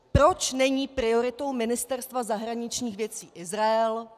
Proč není prioritou Ministerstva zahraničních věcí Izrael?